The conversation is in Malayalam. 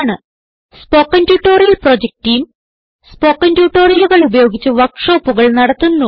spoken tutorial project team spoken ട്യൂട്ടോറിയലുകൾ ഉപയോഗിച്ച് വർക്ക് ഷോപ്പുകൾ നടത്തുന്നു